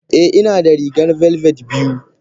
Eh inada rigar velvet biyu.